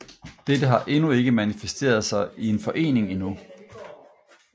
Dette har endnu ikke manifesteret sig i en forening endnu